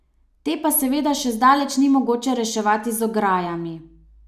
Te pa seveda še zdaleč ni mogoče reševati z ograjami.